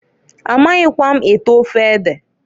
A maghikwa m ete ofe ede.